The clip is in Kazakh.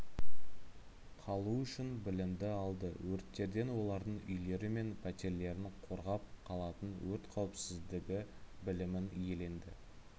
қалу үшін білімді алды өрттерден олардың үйлері мен пәтерлерін қорғап қалатын өрт қауіпсіздігі білімін иеленді